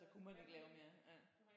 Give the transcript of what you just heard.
Så kunne man ikke lave mere ja